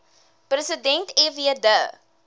president fw de